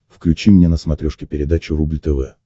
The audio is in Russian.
включи мне на смотрешке передачу рубль тв